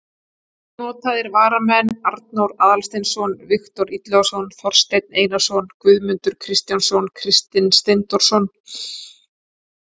Ónotaðir varamenn: Arnór Aðalsteinsson, Viktor Illugason, Þorsteinn Einarsson, Guðmundur Kristjánsson, Kristinn Steindórsson.